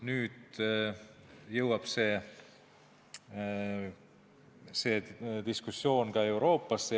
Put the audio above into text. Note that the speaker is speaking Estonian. Nüüd jõuab see diskussioon Euroopasse.